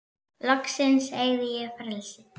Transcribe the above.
Loksins eygði ég frelsi.